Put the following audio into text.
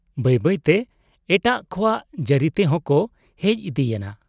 ᱵᱟᱹᱭ ᱵᱟᱹᱭ ᱛᱮ ᱮᱴᱟᱜ ᱠᱚᱣᱟᱜ ᱡᱟᱹᱨᱤ ᱛᱮᱦᱚᱸ ᱠᱚ ᱦᱮᱡ ᱤᱫᱤᱭᱮᱱᱟ ᱾